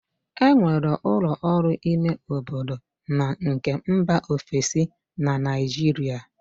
E nwere ụlọ ọrụ ime obodo na nke mba ofesi na Naịjirịa